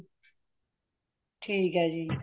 ਠੀਕ ਹੈ ਜੀ